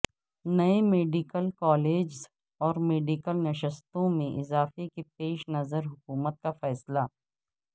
نئے medical colleges اور medical نشستوں میں اضافہ کے پیش نظر حکومت کا فیصلہ